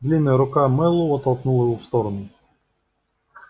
длинная рука мэллоу оттолкнула его в сторону